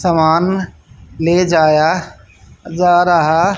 सामान ले जाया जा रहा--